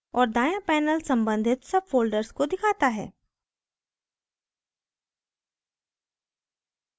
और दाँया panel सम्बंधित subfolders को दिखाता है